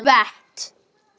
Ég er ein af þeim.